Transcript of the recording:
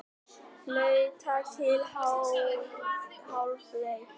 Flautað til hálfleiks